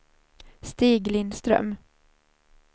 Stig Lindström